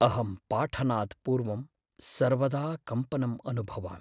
अहं पाठनात्पूर्वं सर्वदा कम्पनम् अनुभवामि।